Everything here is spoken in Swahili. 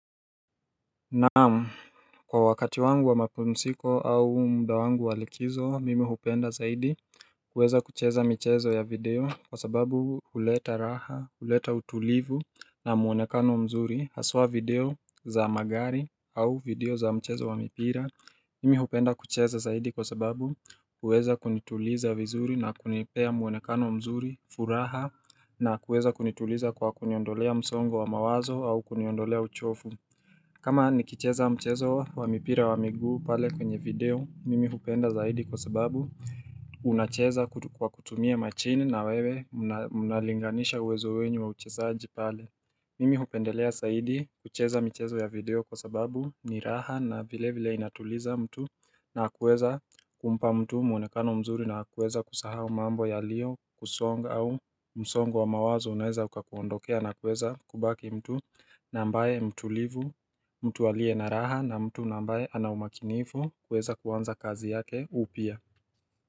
Naam, kwa wakati wangu wa mapumziko au muda wangu wa likizo mimi hupenda zaidi kuweza kucheza michezo ya video kwa sababu huleta raha huleta utulivu na muonekano mzuri haswa video za magari au video za mchezo wa mipira Mimi hupenda kucheza zaidi kwa sababu huweza kunituliza vizuri na kunipea muonekano mzuri furaha na kuweza kunituliza kwa kuniondolea msongo wa mawazo au kuniondolea uchovu kama nikicheza mchezo wa mipira wa miguu pale kwenye video mimi hupenda zaidi kwa sababu Unacheza kwa kutumia machine na wewe mnalinganisha uwezo wenyu wa uchezaji pale Mimi hupendelea zaidi kucheza michezo ya video kwa sababu ni raha na vilevile inatuliza mtu na kuweza kumpa mtu muonekano mzuri na wa kuweza kusahao mambo yaliyokusonga au msongo wa mawazo unaweza ukakuondokea na kuweza kubaki mtu na ambaye mtulivu, mtu aliye na raha na mtu na ambaye ana umakinifu kuweza kuanza kazi yake upya.